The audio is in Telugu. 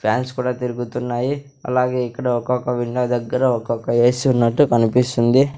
ప్యాన్స్ కుడా తిరుగుతున్నాయి అలాగే ఇక్కడ ఒక్కోక్క విండో దగ్గర ఒక్కోక్క ఎసి ఉన్నట్టు కనిపిస్తుంది.